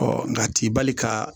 nka t'i bali ka